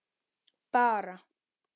Bara